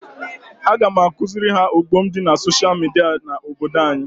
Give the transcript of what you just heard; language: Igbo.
Aga m akuziri ha ọghọm di na social media na obodo anyi